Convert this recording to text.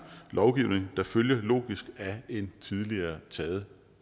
lovgivning der følger logisk af en tidligere taget